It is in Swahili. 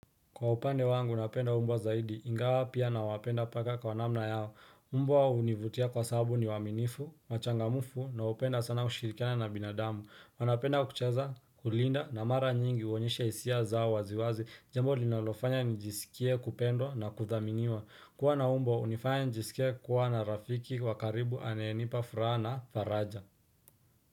Kwa upande wangu napenda umbwa zaidi, ingawa pia nawapenda paka kwa namna yao. Umbwa hunivutia kwa sababu ni waaminifu, wachangamfu na hupenda sana kushirikiana na binadamu. Wanapenda kucheza, kulinda na mara nyingi huonyesha hisia zao waziwazi, jambo linalofanya nijisikie kupendwa na kuthaminiwa. Kuwa na umbwa hunifanya nijisikie kuwa na rafiki wa karibu aneyenipa furaha na faraja.